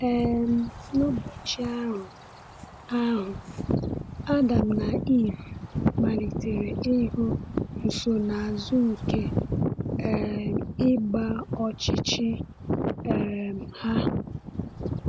um N’ụbọchị ahụ ahụ, Adam na Ivụ malitere ịhụ nsonaazụ nke um ịgba ọchịchị um ha.